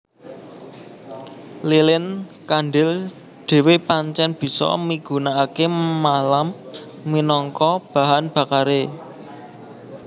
Lilin kandhil dhéwé pancèn bisa migunakaké malam minangka bahan bakaré